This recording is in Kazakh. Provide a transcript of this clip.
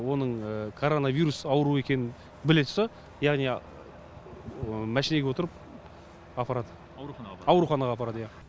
оның коронавирус ауру екенін біле тұрса яғни машинеге отырып апарады ауруханаға апарады иә